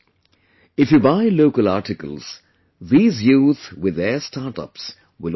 If you buy local articles, these youth with their startups will also benefit